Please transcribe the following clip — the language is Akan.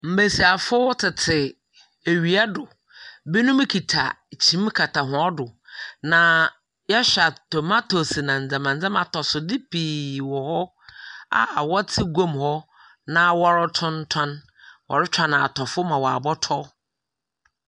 Mbesiafo tete ewia do. Binom kita kyim kata hɔn do, na yɛhwɛ a tomatoes na ndzemba ndzɛmba, atosode pii wɔ hɔ a wɔtse gua mu hɔ na wɔretontɔn. Wɔretwɛn atɔfo ma wɔabɔtɔ.